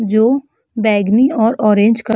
जो बैंगनी और ऑरेंज क --